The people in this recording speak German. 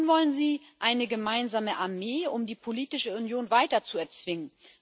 Und nun wollen Sie eine gemeinsame Armee, um die politische Union weiter zu erzwingen!